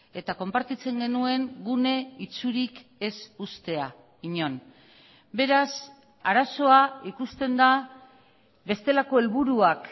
eta konpartitzen genuen gune itsurik ez uztea inon beraz arazoa ikusten da bestelako helburuak